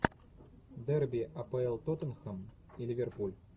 дерби апл тоттенхэм и ливерпуль